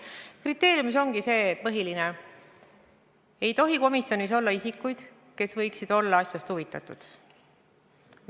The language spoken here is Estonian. Põhiline kriteerium ongi, et komisjonis ei tohi olla isikuid, kes võiksid olla asjast huvitatud.